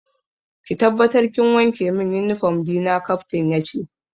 Ki tabbatar kin wanke min uniform dina, Captain yace.